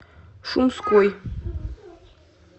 шумской